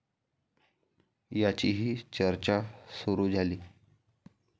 याचीही चर्चा सुरू झाली.